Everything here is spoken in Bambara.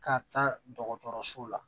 Ka taa dɔgɔtɔrɔso la